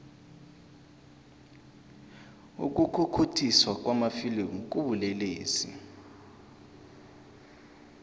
ukukhukhuthiswa kwamafilimu kubulelesi